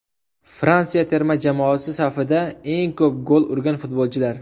Fransiya terma jamoasi safida eng ko‘p gol urgan futbolchilar !